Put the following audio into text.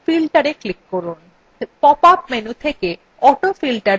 pop up menu থেকে autofilter বিকল্পের উপর click করুন